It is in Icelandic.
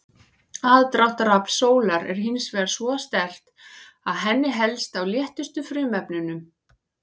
Aðdráttarafl sólar er hins vegar svo sterkt að henni helst á léttustu frumefnunum.